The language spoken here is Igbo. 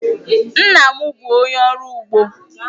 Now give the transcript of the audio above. Nna m bụ onye ọrụ ugbo.